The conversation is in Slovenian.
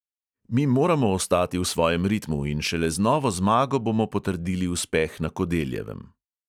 Mi moramo ostati v svojem ritmu in šele z novo zmago bomo potrdili uspeh na kodeljevem.